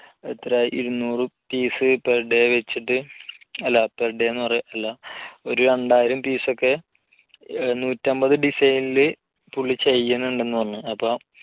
എത്രഇരുന്നൂറ് piece per day വെച്ചിട്ട് അല്ല per day അല്ലാ ഒരു രണ്ടായിരം piece ഒക്കെ നൂറ്റൻപത് design ല് പുള്ളി ചെയ്യുന്നുണ്ടെന്ന് പറഞ്ഞു അപ്പോ